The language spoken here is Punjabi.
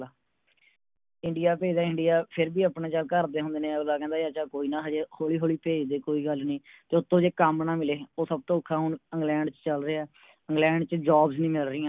ਇੰਡੀਆ ਭੇਜਦਾ ਇੰਡੀਆ ਫੇਰ ਵੀ ਆਪਣਾ ਜਾ ਘਰ ਦੇ ਹੁੰਦੇ ਨੇ ਅਗਲਾ ਕਹਿੰਦਾ ਯਾਰ ਚਲ ਕੋਈ ਨਾ ਹਜੇ ਹੌਲੀ ਹੌਲੀ ਭੇਜ ਦੇ ਕੋਈ ਗੱਲ ਨੀ ਤੇ ਉਤੋਂ ਜੇ ਕੰਮ ਨਾ ਮਿਲੇ ਓ ਸਭ ਤੋਂ ਔਖਾ ਹੁਣ ਇੰਗਲੈਂਡ ਚ ਚਲ ਰਿਹਾ ਇੰਗਲੈਂਡ ਚ Jobs ਨਹੀਂ ਮਿਲ ਰਹੀਆ